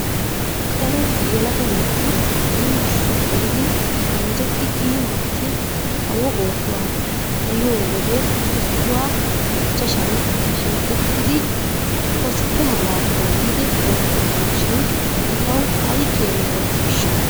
Daro yelaga naati yumburshiya gelidi anjjetti kiyi maakki kawo oossoy xayiyoo wode issuwa ichchashan shiiqettidi koske mala dooyidi oottoosona shin etawu ayi keena wodhdhiishsha?